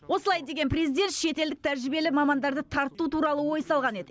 осылай деген президент шетелдік тәжірибелі мамандарды тарту туралы ой салған еді